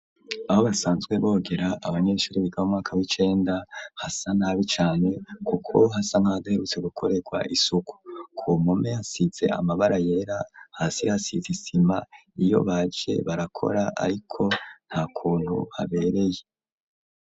aho basanzwe bogera abanyeshuri bigabo umwaka w'icenda hasa nabi cane kuko hasa ntadaherutse gukorerwa isuku ku mume asitse amabara yera hasi hasize isima iyo baje barakora ariko nta kuntu habereye